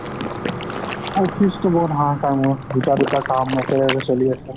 office অতো বৰ হাহাকাৰ মোৰ, দুটা দুটা একেলগে কাম চলি আছে।